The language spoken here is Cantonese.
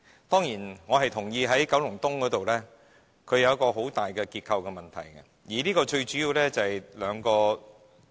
當然，我認同九龍東有很大的結構問題，最主要原因有兩個。